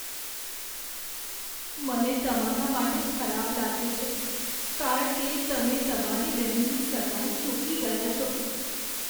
મને તમારા માટે ખરાબ લાગે છે કારણ કે તમે તમારી બહેનની સગાઈ ચૂકી ગયા છો.